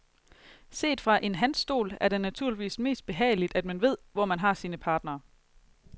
Set fra en hans stol, er det naturligvis mest behageligt at man ved, hvor man har sine partnere.